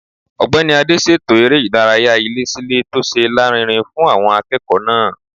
Ọ̀gbẹ́ni Adé ṣètò eré ìdárayá ilé-sí-ilé tó ṣe lárinrin fún àwọn akẹ́kọ̀ọ́ náà